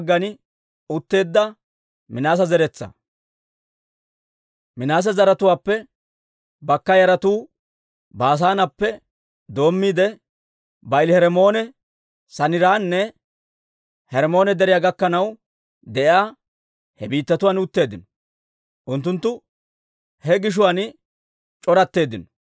Minaase zaratuwaappe bakka yaratuu Baasaaneppe doommiide, Ba'aali-Hermmoone, Saniiranne Hermmoone Deriyaa gakkanaw de'iyaa he biittatuwaan utteeddino; unttunttu he gishuwaan c'oratteeddino.